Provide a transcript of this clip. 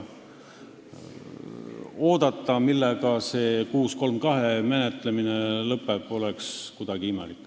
Oodata, millega eelnõu 632 menetlemine lõpeb, oleks kuidagi imelik.